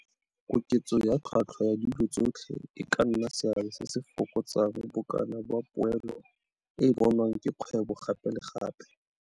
Koketso ya tlhotlhwa ya dilo tsotlhe e ka nna seabe se se fokotsang bokana ba poelo e e bonwang ke kgwebo gape le gape.